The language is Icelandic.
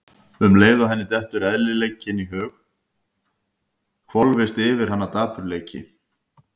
Og um leið og henni dettur eðlileikinn í hug hvolfist yfir hana dapurleiki.